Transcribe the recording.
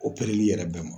Opereli yɛrɛ bɛɛ ma